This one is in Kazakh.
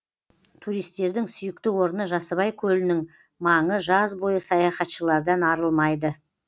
туристердің сүйікті орны жасыбай көлінің маңы жаз бойы саяхатшылардан арылмайды